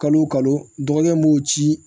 Kalo o kalo dɔgɔkɛ b'o ci